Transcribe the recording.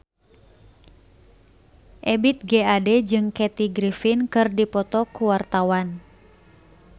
Ebith G. Ade jeung Kathy Griffin keur dipoto ku wartawan